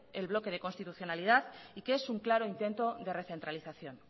el bloque de constitucionalidad y que es un claro intento de recentralización